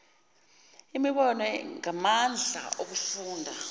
imibono ngamandla okufunda